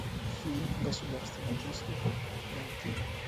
фильм государственный преступник найти